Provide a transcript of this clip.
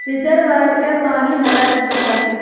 Reservoir का पानी हरा दिख रहा है।